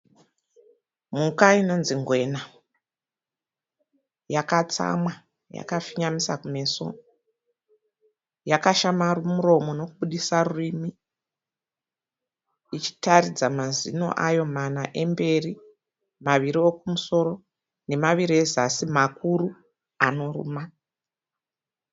Mhuka inonzi Ngwena yakatsamwa yakafingamisa kumeso. Yakashama muromo nokubudisa rurimi ichitaridza mazino ayo mana emberi ,maviri ekumusoro nemaviri ezasi makuru anoruma.